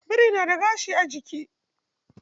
Biri na da gashi a jiki.